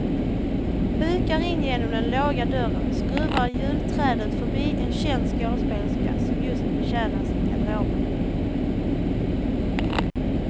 Hukar in genom den låga dörren, skruvar julträdet förbi en känd skådespelerska som just betjänas i garderoben.